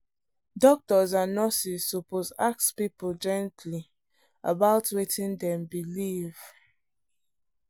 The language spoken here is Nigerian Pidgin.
doctors and nurses suppose ask people gently about wetin dem believe.